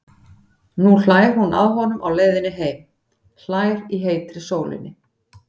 Nú hlær hún að honum á leiðinni heim, hlær í heitri sólinni.